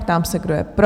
Ptám se, kdo je pro?